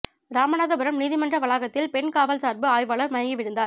ராமநாதபுரம் நீதிமன்ற வளாகத்தில் பெண் காவல் சாா்பு ஆய்வாளா் மயங்கி விழுந்தாா்